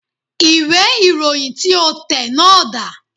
Ìwé ìròyìn tí o tẹ̀ náà dà